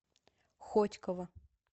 хотьково